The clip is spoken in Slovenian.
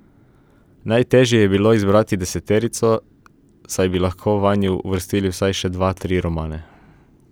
Najtežje je bilo izbrati deseterico, saj bi lahko vanjo uvrstili vsaj še dva, tri romane.